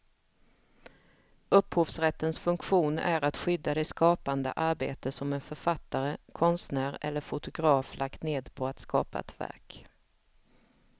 Upphovsrättens funktion är att skydda det skapande arbete som en författare, konstnär eller fotograf lagt ned på att skapa ett verk.